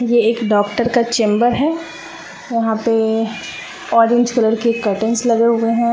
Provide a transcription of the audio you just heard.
ये एक डॉक्टर का चैंबर है वहां पे ऑरेंज कलर के कटेंस लगे हुए हैं।